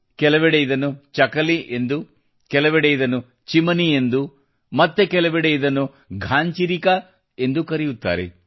ಕೆಲವೆಡೆ ಇದನ್ನು ಚಕಲಿ ಎಂದೂ ಕೆಲವೆಡೆ ಇದನ್ನು ಚಿಮನಿ ಎಂದೂ ಮತ್ತೆ ಕೆಲವೆಡೆ ಇದನ್ನು ಘಾನ್ಚಿರಿಕಾ ಎಂದೂ ಕರೆಯುತ್ತಾರೆ